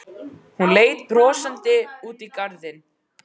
Hún leit brosandi út í garðinn.